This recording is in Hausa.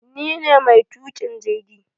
Ni ne maitukin jirgi